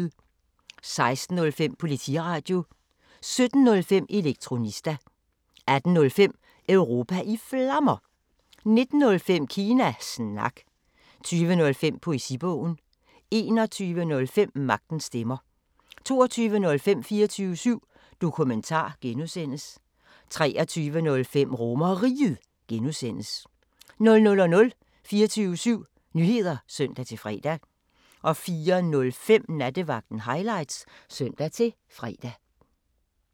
16:05: Politiradio 17:05: Elektronista 18:05: Europa i Flammer 19:05: Kina Snak 20:05: Poesibogen 21:05: Magtens Stemmer 22:05: 24syv Dokumentar (G) 23:05: RomerRiget (G) 00:00: 24syv Nyheder (søn-fre) 04:05: Nattevagten Highlights (søn-fre)